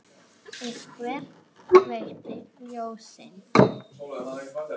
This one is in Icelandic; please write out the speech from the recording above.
Einhver kveikti ljósin.